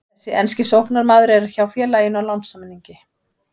Þessi enski sóknarmaður er hjá félaginu á lánssamningi.